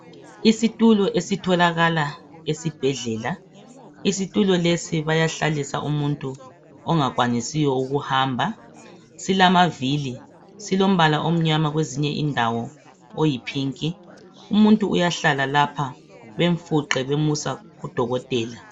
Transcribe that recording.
Isitulo esitholakala esibhedlela. Isitulo lesi bayahlalisa umuntu ongakwanisiyo ukuhamba. Silamavili, silombala omnyama kwezinye indawo oyiphinki. Umuntu uyahlala lapha bemfuqe bemusa kudokotela.